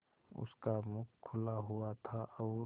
उसका मुख खुला हुआ था और